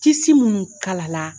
Tisi minnu kalala